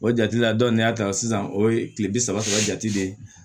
O jate la dɔ ni y'a ta sisan o ye kile bi saba saba jate de ye